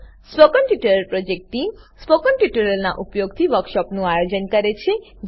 spoken tutorial project team spoken ટ્યુટોરીયલોનાં ઉપયોગથી વર્કશોપોનું આયોજન કરે છે